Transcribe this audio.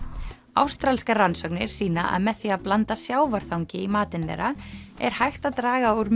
ástralskar rannsóknir sýna að með því að blanda sjávarþangi í matinn þeirra er hægt að draga úr